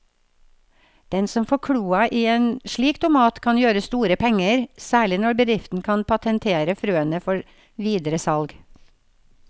Den som får kloa i en slik tomat kan gjøre store penger, særlig når bedriften kan patentere frøene før videre salg.